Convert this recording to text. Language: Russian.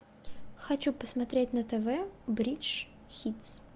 хочу посмотреть на тв бридж хитс